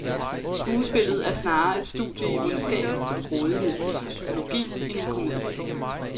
Skuespillet er snarere et studie i ondskabens og grådighedens psykologi end en komedie.